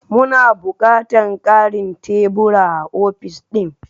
Muna bukatar mu ƙarin tebura a ofis ɗin?